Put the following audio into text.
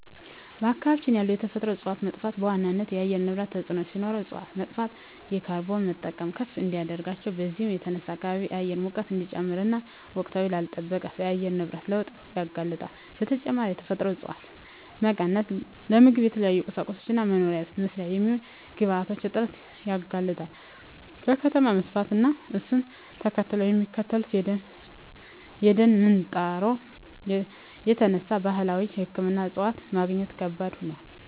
በአካባቢ ያሉ የተፈጥሮ እፀዋት መጥፋት በዋናነት ለአየር ንብረት ተፅዕኖ ሲኖረው እፅዋት መጥፋት የካርቦን መጠን ከፍ እንዲል ያደርጋል። በዚህም የተነሳ የከባቢ አየር ሙቀት እንዲጨምር እና ወቅቱን ላልለጠበቀ የአየር ንብረት ለውጥ ያጋልጣል። በተጨማሪም የተፈጥሮ እፀዋት መቀነስ ለምግብ፣ ለተለያዩ ቁሳቁሶች እና መኖሪያ ቤት መስሪያ የሚሆኑ ግብአቶች እጥረት ያጋልጣል። ከከተማ መስፋፋት እና እሱን ተከትሎ ከሚከሰተው የደን ምንጣሮ የተነሳ ባህላዊ ሕክምና እፅዋት ማግኘት ከባድ ሆኗል።